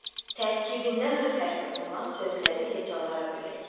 Tərkibində r hərfi olan sözləri hecalara bölək.